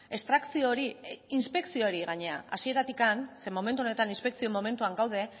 estrakzio hori inspekzio hori gainera hasieratik zeren momentu honetan inspekzio momentuan gaude